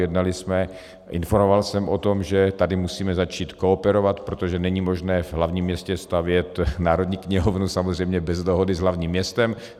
Jednali jsme, informoval jsem o tom, že tady musíme začít kooperovat, protože není možné v hlavním městě stavět Národní knihovnu samozřejmě bez dohody s hlavním městem.